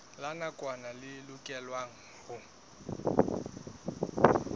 la nakwana le lokelwang ho